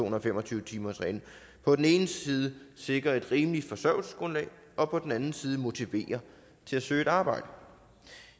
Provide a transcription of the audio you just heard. og fem og tyve timersreglen på den ene side sikrer et rimeligt forsørgelsesgrundlag og på den anden side motiverer til at søge et arbejde